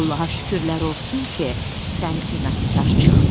Allaha şükürlər olsun ki, sən inadkar çıxdın.